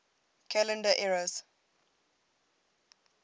calendar eras